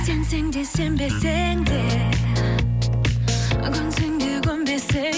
сенсең де сенбесең де көнсең де көнбесең де